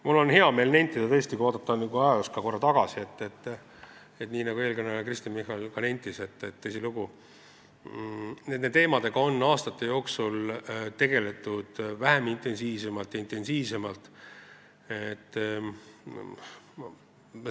Mul on hea meel nentida, et kui vaadata ajaloos korra tagasi, siis tõsilugu, nii nagu ka eelkõneleja Kristen Michal ütles, nende teemadega on aastate jooksul tegeletud vähem intensiivselt ja intensiivsemalt.